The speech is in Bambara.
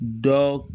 Dɔ